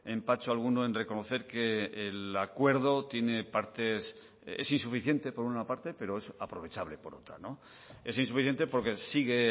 empacho alguno en reconocer que el acuerdo tiene partes es insuficiente por una parte pero es aprovechable por otra es insuficiente porque sigue